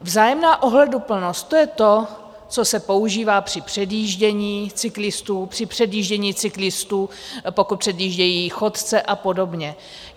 Vzájemná ohleduplnost - to je to, co se používá při předjíždění cyklistů, při předjíždění cyklistů, pokud předjíždějí chodce, a podobně.